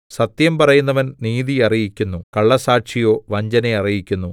സത്യം പറയുന്നവൻ നീതി അറിയിക്കുന്നു കള്ളസാക്ഷിയോ വഞ്ചന അറിയിക്കുന്നു